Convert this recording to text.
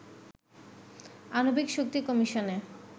আণবিক শক্তি কমিশনে